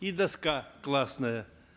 и доска классная